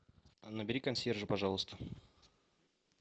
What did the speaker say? набери консьержа пожалуйста